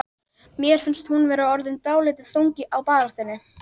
Mér finnst hún vera orðin dálítið þung á bárunni.